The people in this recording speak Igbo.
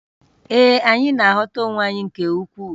Ee, anyị na-aghọta onwe anyị nke ukwuu